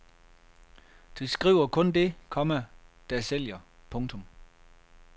De skriver kun det, komma der sælger. punktum